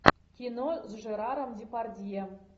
кино с жераром депардье